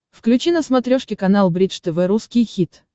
включи на смотрешке канал бридж тв русский хит